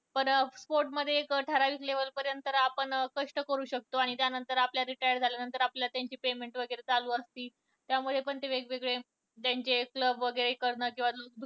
पण sport मध्ये एक ठराविक level पर्यंत आपण कष्ट करू शकतो. आणि त्यानंतर आपण retired झाल्यानंतर आपल्याला त्यांची payment वैगरे चालू असती. त्यांमुळे पण वेगवेगळे त्यांचे club वैगरे करणं किंवा